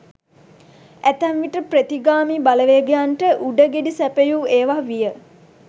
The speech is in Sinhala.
ඇතැම් විට ප්‍රතිගාමී බලවේගයන් ට උඩ ගෙඩි සැපයූ ඒවා විය.